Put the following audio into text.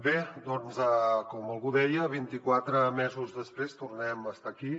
bé doncs com algú deia vint i quatre mesos després tornem a estar aquí